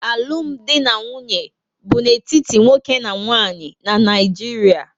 Alụm di na nwunye bu n'etiti nwoke na nwanyị na Naijiria